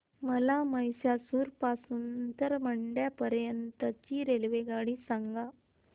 मला म्हैसूर पासून तर मंड्या पर्यंत ची रेल्वेगाडी सांगा